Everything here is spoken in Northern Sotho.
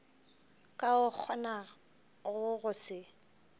ka o kgonago go se